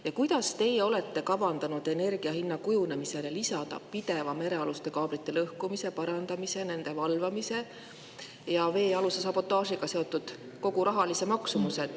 Ja kuidas teie olete kavandanud energia hinna kujunemisele lisada pideva merealuste kaablite lõhkumise, parandamise, nende valvamise ja veealuse sabotaažiga seotud rahalise maksumuse?